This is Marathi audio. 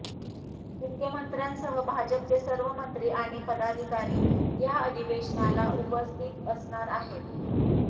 मुख्यमंत्र्यांसह भाजपचे सर्व मंत्री आणि पदाधिकारी या अधिवेशनाला उपस्थित असणार आहेत